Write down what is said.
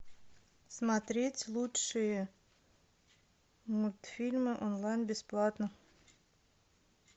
смотреть лучшие мультфильмы онлайн бесплатно